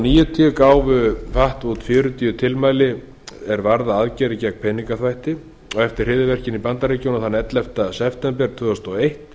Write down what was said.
hundruð níutíu gáfu fatf út fjörutíu tilmæli er varða aðgerðir gegn peningaþvætti eftir hryðjuverkin í bandaríkjunum þann ellefta september tvö þúsund og eitt